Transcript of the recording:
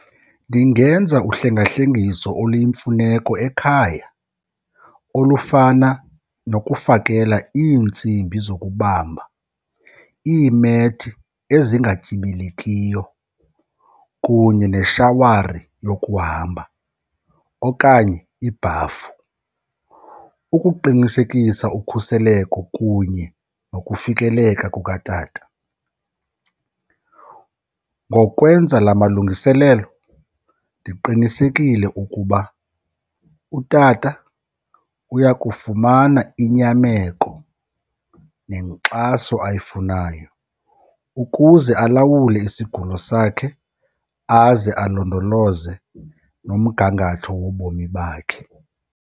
Ndingenza uhlengahlengiso oluyimfuneko ekhaya olufana nokufakela iintsimbi zokubamba, iimethi ezingatyibilikiyo kunye neshawari yokuhamba okanye ibhafu ukuqinisekisa ukhuseleko kunye nokufikeleka kukatata. Ngokwenza la malungiselelo ndiqinisekile ukuba utata uya kufumana inyameko nenkxaso ayifunayo ukuze alawule isigulo sakhe aze alondoloze nomgangatho wobomi bakhe.